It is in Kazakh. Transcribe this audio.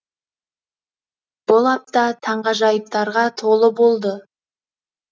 бұл апта таңғажайыптарға толы болды